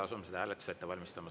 Asume seda hääletust ette valmistama.